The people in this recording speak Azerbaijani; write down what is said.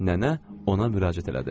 Nənə ona müraciət elədi.